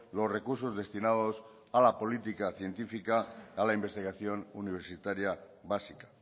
los recursos destinados a la política científica a la investigación universitaria básica